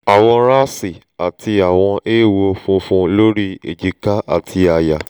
awọn raṣi ati awọn eewo funfun lori èjìká ati aya